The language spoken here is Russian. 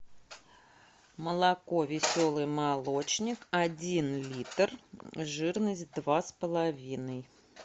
молоко веселый молочник один литр жирность два с половиной